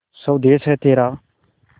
स्वदेस है तेरा